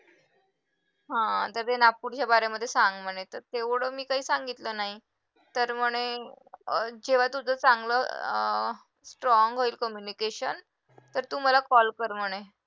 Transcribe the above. हा तर ते नागपूर सांग म्हणायचे तेवढं मी काय सांगितलं नाही तर म्हणे जेव्हा तुझं चांगलं अं strong होईल communication तर तु मला call कर म्हणे